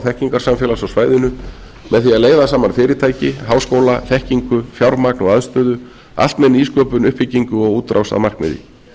þekkingarsamfélags á svæðinu með því að leiða saman fyrirtæki háskóla þekkingu fjármagn og aðstöðu allt með nýsköpun uppbyggingu og útrás að markmiði